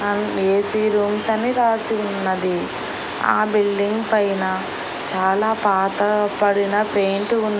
and AC rooms అని రాసి ఉన్నది ఆ బిల్డింగ్ పైన చాలా పాతపడిన పెయింటు ఉన్--